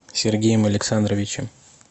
сергеем александровичем